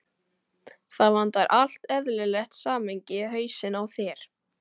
Það vantar allt eðlilegt samhengi í hausinn á þér.